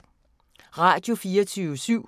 Radio24syv